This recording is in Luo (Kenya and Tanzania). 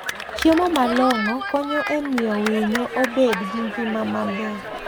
Chiemo malong'o konyo e miyo winyo obed gi ngima maber.